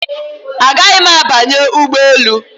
Agaghị m abanye ụgbọ elu